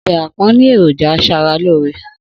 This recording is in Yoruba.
Obe àpón ni ẹ̀rọ̀jà asaralóóre.